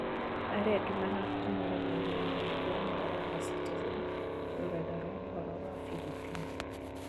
Arĩa angĩ mahootanire nĩ Mary mwandiki wa mohoro wa citizen, rũrenda rwa mohoro rwa filipini